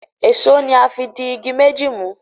Èṣó ní a fí dì ìgi méjì mú.